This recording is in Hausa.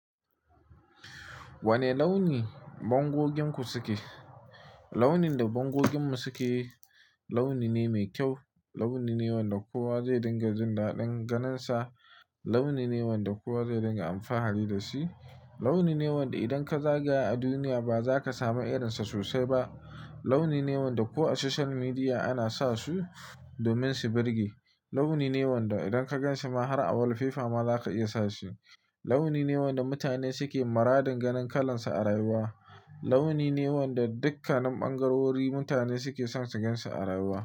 Wane launi bangoginku suke? Launin da bangoginmu suke launi ne mai kyau. Launi ne wanda kowa zai dinga jin daɗin ganinsa. Launi ne wanda kowa zai dinga amfani da shi. Launi ne wanda idan ka zaga a duniya ba za ka samu irinsa sosai ba. Launi ne wanda ko a social media ana sa su domin su birge. Launi ne wanda idan ka ganshi ma har a wallfefa ma za ka iya sashi. Launi ne wanda mutane suke maradin ganin kalansa a rayuwa. Launi ne wanda dukkanin ɓangarori mutane suke son suganshi a rayuwa.